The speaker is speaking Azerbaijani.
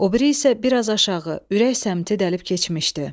O biri isə bir az aşağı, ürək səmtə dəlib keçmişdi.